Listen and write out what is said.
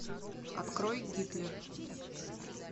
открой гитлер